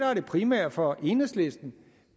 er det primære for enhedslisten